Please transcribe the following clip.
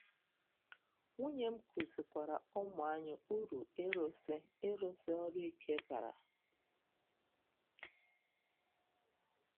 Nwunye m kụzikwaara ụmụ anyị uru ịrụsi ịrụsi ọrụ ike bara.